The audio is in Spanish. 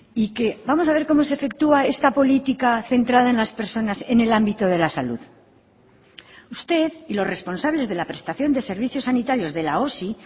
y que vamos a ver cómo se efectúa esta política centrada en las personas en el ámbito de la salud usted y los responsables de la prestación de servicios sanitarios de la osi